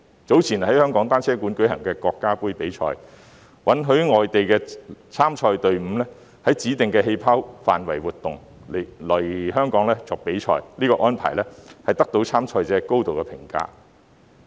早前在香港單車館舉行的國家盃比賽，允許外地參賽隊伍在指定的"氣泡"範圍活動，來港比賽，這項安排得到參賽者高度評價。